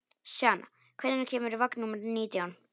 Sjana, hvenær kemur vagn númer nítján?